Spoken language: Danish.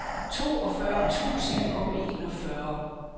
toogfyrre tusind og enogfyrre